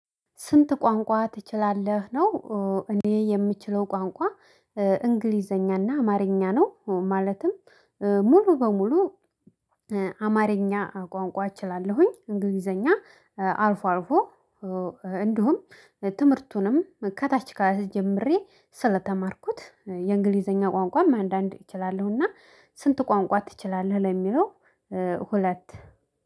ስንት ቋንቋ ትችላለህ ነው? እኔ የምችለው ቋንቋ እንግሊዘኛና አማርኛ ነው ማለትም ሙሉ በሙሉ አማርኛ ቋንቋ እችላለሁኝ እንግሊዘኛ። አልፎ አልፎ። እንድሁም ትምህርቱንም ከታች ከሀ ጀምሬ ስለተማርኩት የእንግሊዘኛ ቋንቋም አንዳንድ እችላለሁና። ስንት ቋንቋ ትችላለህ ለሚለው? ሁለት